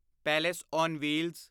palace on wheels